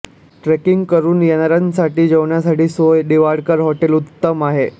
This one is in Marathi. ट्रेकिंग करून येणाऱ्यांसाठी जेवणासाठी सोय दिवाडकर हॉटेल उत्तम आहे